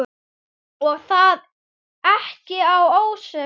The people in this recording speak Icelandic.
Og það ekki að ósekju.